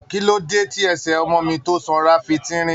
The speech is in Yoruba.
Kí ló dé ẹsẹ ọmọ mi tó sanra fi tínrín?